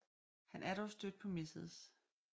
Han er dog stødt på Mrs